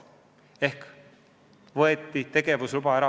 Tegevusluba võeti Versobankilt ära.